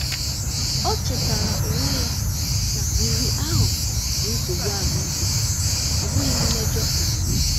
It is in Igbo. Ọ chetara onwe ya na riri ahụ bụ nsogbu ahụike, ọ bụghị mmejọ omume.